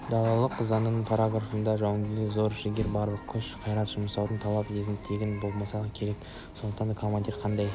далалық заңның параграфында жауынгерден зор жігер барлық күш-қайрат жұмсауды талап ететіндігі тегін болмаса керек сондықтан да командир қандай